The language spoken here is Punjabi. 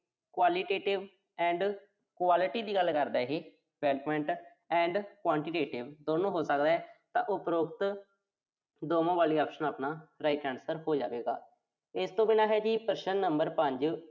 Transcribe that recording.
qualitative and quality ਦੀ ਗੱਲ ਕਰਦਾ ਇਹੇ development and quantitative ਦੋਨੋਂ ਹੋ ਸਕਦਾ, ਤਾਂ ਉਪਰੋਕਤ ਦੋਨੋਂ ਵਾਲੀ option ਆਪਣਾ right answer ਹੋ ਜਾਵੇਗਾ। ਇਸ ਤੋਂ ਬਿਨਾਂ ਹੈ ਜੀ ਪ੍ਰਸ਼ਨ ਨੰਬਰ ਪੰਜ